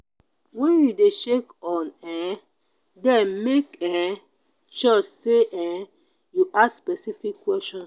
when you de check on um dem make um sure say um you ask specific questions